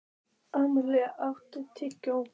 Amilía, áttu tyggjó?